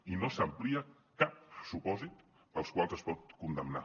i no s’amplia cap supòsit pels quals es pot condemnar